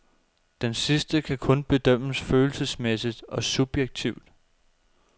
Denne sidste kan kun bedømmes følelsesmæssigt og subjektivt.